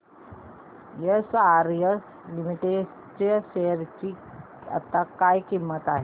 SRS limited च्या share ची आता काय किंमत आहे